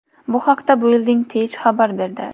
Bu haqda Building Tech xabar berdi .